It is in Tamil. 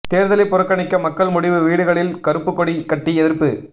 தேர்தலை புறக்கணிக்க மக்கள் முடிவு வீடுகளில் கறுப்பு கொடி கட்டி எதிர்ப்பு